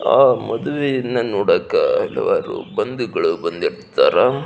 ಆ ಮದುವೆಯನ್ನು ನೋಡಾಕ ಹಲವಾರು ಬಂದುಗಳು ಬಂದಿರ್ತಾರ.